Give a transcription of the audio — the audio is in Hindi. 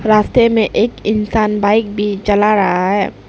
रास्ते में एक इंसान बाइक भी चला रहा है।